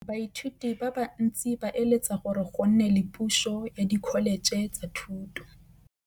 Baithuti ba bantsi ba eletsa gore go nne le pusô ya Dkholetšhe tsa Thuto.